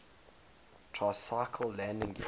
tricycle landing gear